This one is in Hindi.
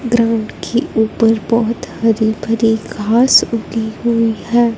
ग्राउंड की ऊपर बहोत हरी भरी घास उगी हुई है।